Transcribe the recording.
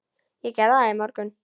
Ég gerði það í morgun.